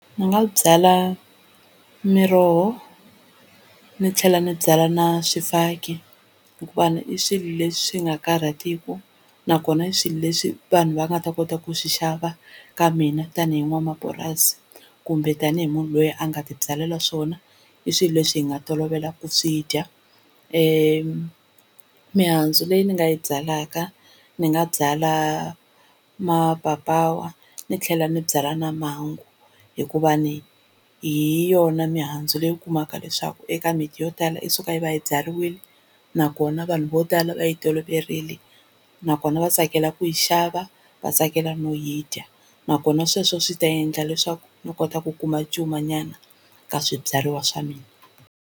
Ni nga byala miroho ni tlhela ni byala na swifaki hikuva i swilo leswi nga karhatiku, nakona i swilo leswi vanhu va nga ta kota ku swi xava ka mina tani hi n'wamapurasi kumbe tani hi munhu loyi a nga tibyalela swona i swilo leswi hi nga tolovela ku swi dya. Mihandzu leyi ni nga yi byalaka ni nga byala mapapawa ni tlhela ni byala na mangwa hikuva hi yona mihandzu leyi u kumaka leswaku eka mimiti yo tala yi suka yi va yi byariwile nakona vanhu vo tala va yi toloverile nakona va tsakela ku yi xava va tsakela no yi dya, nakona sweswo swi ta endla leswaku ni kota ku kuma cumanyana ka swibyariwa swa mina.